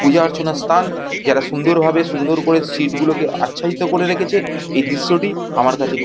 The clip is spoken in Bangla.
পূজার্চনার স্থান। যারা সুন্দর ভাবে সুন্দর করে সিট গুলো আচ্ছাদিত করে রেখেছে। এই দৃশ্য টি আমার কাছে খুব--